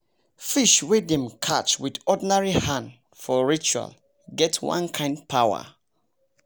fish wey dem catch with ordinary hand for ritual get one kind power